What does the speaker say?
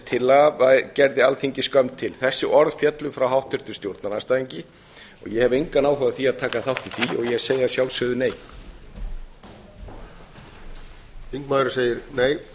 tillaga gerði alþingi skömm til þessi orð féllu frá háttvirtum stjórnarandstæðinga og ég hef engan áhuga á því að taka þátt í því ég segi að sjálfsögðu nei